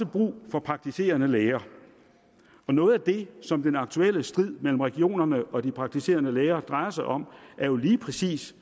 brug for praktiserende læger noget af det som den aktuelle strid mellem regionerne og de praktiserende læger drejer sig om er jo lige præcis